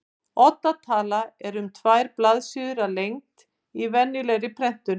Odda tala er um tvær blaðsíður að lengd í venjulegri prentun.